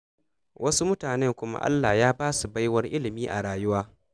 Wasu mutanen kuma Allah Ya ba su baiwar ilimi a rayuwa.